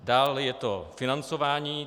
Dále je to financování.